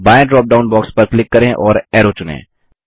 बायें drop down box पर click करें और अरो चुनें